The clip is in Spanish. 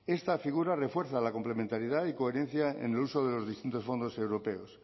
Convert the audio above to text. esta figura refuerza la complementariedad y coherencia en el uso de los distintos fondos europeos